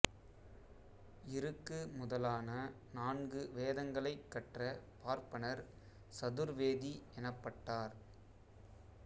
இருக்கு முதலான நான்கு வேதங்களைக் கற்ற பார்ப்பனர் சதுர்வேதி எனப்பட்டார்